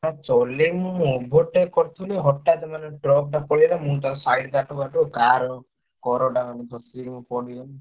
ହଁ ଚଲେଇବୁନି କଣ overtake କରୁଥିଲୁ ହଠାତ୍ ମାନେ truck ଟା ପଳେଇଆଇଲା। ମୁଁ ତାକୁ side କାଟୁ କାଟୁ car କରଟା ପଡ଼ିଗଲି।